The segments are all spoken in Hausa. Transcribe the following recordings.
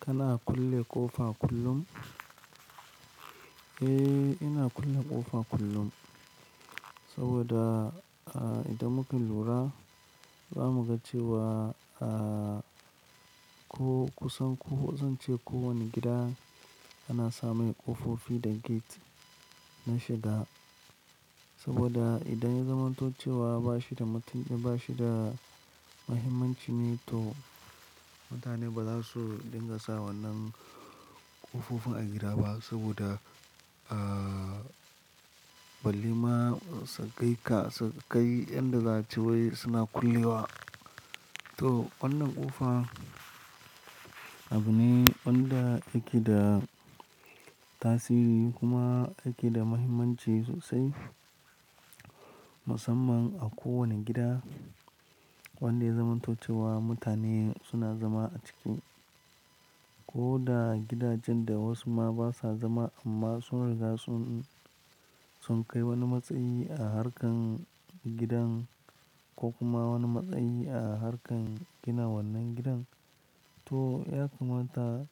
Kana kulle ƙofa kullum? Eh, ina kulle ƙofa kullum. Saboda, ah, idan muka lura za mu ga cewa, ko kusan ko zan ce ko wane gida ana sa mai ƙofofi da gate na shiga. Saboda idan ya zamantace wa bashi da bashi da muhimmancine to mutane ba za su dinga sa wannan ƙofofin a gida ba. Saboda, ah, balle ma sakai ka, sakai yadda za a ci wai suna kulle wa. To wannan ƙofa abune wanda yake da tasi kuma yake da muhimmancin sosai. Musamman a ko wane gida wanda ya zamantace wa mutane suna zama a ciki. Ko da gidajen da wasu ma basa zama amma sun riga sun, sun kai wani matsayi a harkan gidan ko kuma wani matsayi a harkan gina wannan gidan. To ya kamata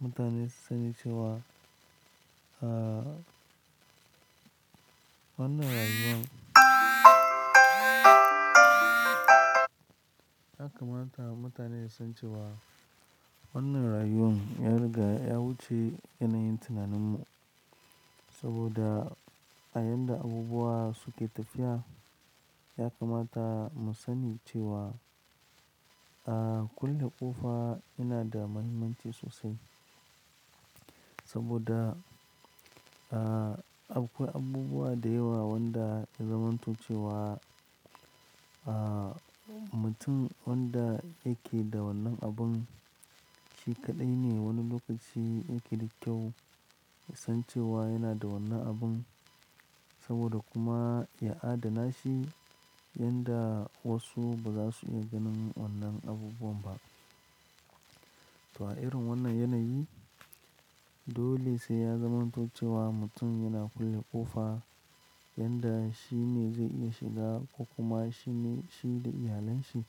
mutane su sani cewa, ah, wannan rayuwan ya kamata mutane su san cewa wannan rayuwan ya riga, ya wuce yanayin tunaninmu. Saboda a yadda abubuwa suke tafiya ya kamata mu sani cewa, ah, kulle ƙofa yana da muhimmanci sosai. Saboda, ah, akwai abubuwa da yawa wanda ya zamantace wa, ah, mutum wanda yake da wannan abun shi kaɗai ne wani lokaci yake da kyau san cewa yana da wannan abun. Saboda kuma ya adana shi yanda wasu ba za su iya ganin wannan abubuwan ba. To a irin wannan yanayi dole sai ya zamantace wa mutum yana kulle ƙofa yanda shine zai iya shiga ko kuma shine, shi da iyalanshi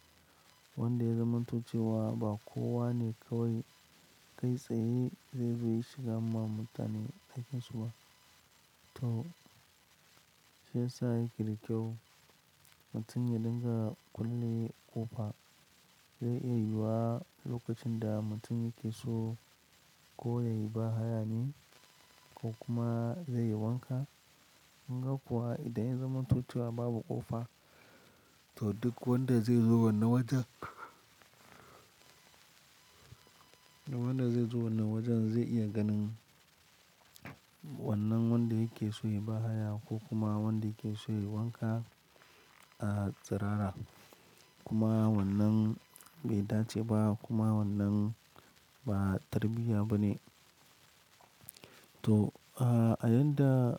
wanda ya zamantace wa ba kowa ne kawai kai tsaye zai iya shiga ma mutane aikinsu ba. To shi ya sa yake da kyau mutum ya dinga kulle ƙofa. Zai iya yiwa lokacin da mutum yake so ko yayi ba haya ne ko kuma zai yi wanka. Kunga kuwa idan ya zamantoce wa babu ƙofa to duk wanda zai zo wannan wajen, wanda zai zo wannan wajen zai iya ganin wannan wanda yake so yayi baya ko kuma wanda yake so yayi wanka, ah, tsirara. Kuma wannan bai dace ba kuma wannan ba tarbiyya ba ne. To, ah, a yanda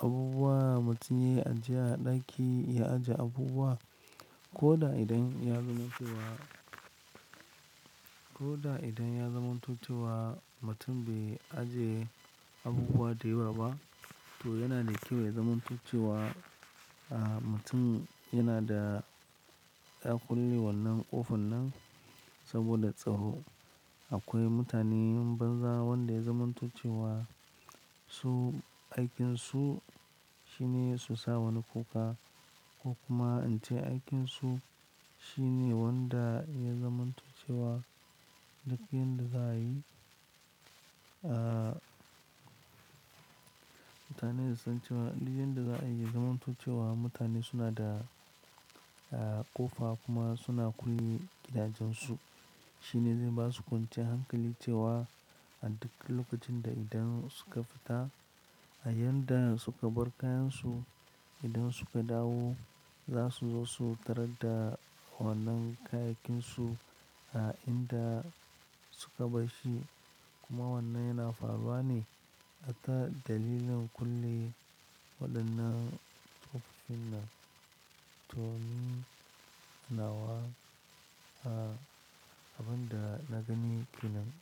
abubuwa mutum ya ajiye a ɗaki ya ajiye abubuwa ko da idan ya zamantace wa, ko da idan ya zamantace wa mutum bai ajiye abubuwa da yawa ba to yana da kyau ya zamantace wa, ah, mutum yana da ya kulle wannan ƙofar nan saboda tsaro. Akwai mutane banza wanda ya zamantace wa su aikinsu shine su sa wani ƙofa ko kuma ance aikinsu shine wanda ya zamanto ce wa duk yin da za a yi, ah, mutane su san cewa duk yin da za a yi ya zamanto ce wa mutane suna da, ƙofa kuma suna kulle gidajensu. Shine zai basu kwanciyar hankali cewa a duk lokacin da idan suka fita a yanda suka bar kayansu idan suka dawo za su zo su tarar da wannan kayakin su a inda suka bar shi. Kuma wannan yana faruwa ne. Hatma dalilin kulle waɗannan ƙofofin nan. To mun hanawa, ah, abin da na gani kenan.